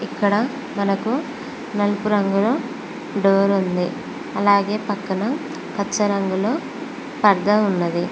ఇక్కడ మనకు నలుపు రంగులో డోర్ ఉంది అలాగే పక్కన పచ్చ రంగులో పర్ధా ఉన్నది.